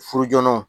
Furu jɔnɔn